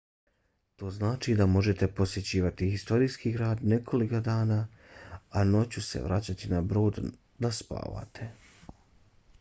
to znači da možete posjećivati historijski grad nekoliko dana a noću se vraćati na brod da spavate